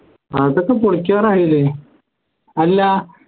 അതൊക്കെ പൊളിക്കാറായില്ലേ അല്ല